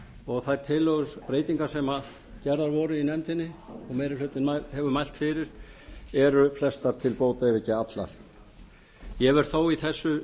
og þær tillögubreytingar sem gerðar voru í nefndinni og sem meiri hlutinn hefur mælt fyrir eru flestar til bóta ef ekki allar ég verð þó í þessu